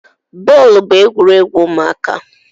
Bọọlụ bụ egwuregwu ụmụaka